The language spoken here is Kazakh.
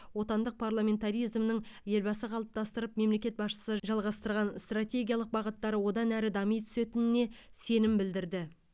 отандық парламентаризмнің елбасы қалыптастырып мемлекет басшысы жалғастырған стратегиялық бағыттары одан әрі дами түсетініне сенім білдірді